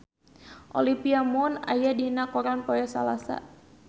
Olivia Munn aya dina koran poe Salasa